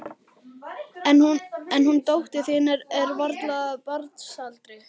En hún dóttir þín er varla af barnsaldri.